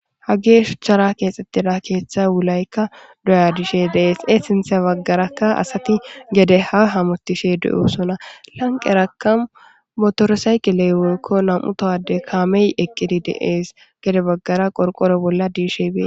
Hage shuchara keexxettida keeththa wulaykka doya diishe deees e sinthe baggarakka asati gede ha hamotishe du'o sona lanqeraka motorosayqiley wolkko nam'u towade kaamey eqqidi deees gede baggara qorqoro bolla diishe bee